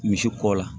Misi kɔ la